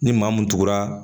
Ni maa mun tugura